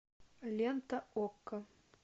лента окко